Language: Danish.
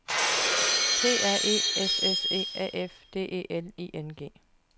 P R E S S E A F D E L I N G